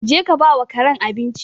Je ka ba wa karen abinci!